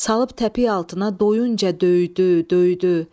Salıb təpik altına doyuncan döydü, döydü.